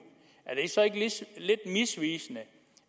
er det så ikke lidt misvisende